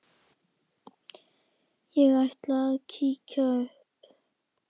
Ég ætla að kíkja upp